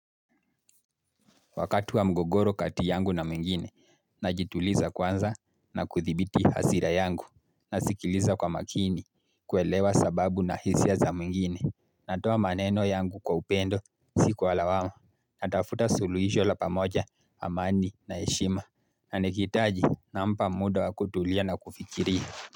Wakati wa mgogoro kati yangu na mwengine, najituliza kwanza na kuthibiti hasira yangu, nasikiliza kwa makini, kuelewa sababu na hisia za mwengine, natoa maneno yangu kwa upendo, si kwa lawama, natafuta suluhisho la pamoja, amani na heshima, na nikihitaji nampa muda wa kutulia na kufikiria.